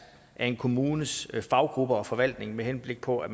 af en kommunes faggrupper og forvaltning med henblik på at